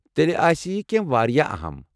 تیٚلہ آسہ یہِ کینٛہہ واریاہ اَہَم؟